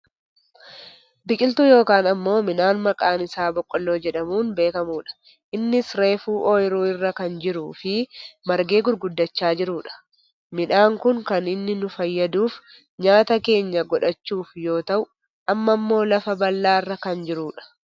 Biqiltuu yookaan ammoo midhaan maqaan Isaa boqqolloo jedhamuun beekkamudha. Innis reefu ooyiruu irra kan jiruufi margee gurguddachaa jirudha. Midhaan kun kan inni nu fayyaduuf nyaata keenya godhachuuf yoo ta'u amma ammoo lafa bal'aarra kan jirudha.